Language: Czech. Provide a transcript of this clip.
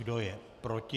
Kdo je proti?